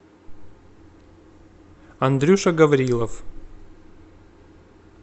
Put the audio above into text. андрюша гаврилов